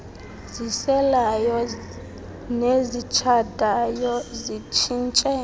ziselayo nezitshayayo zitshintshe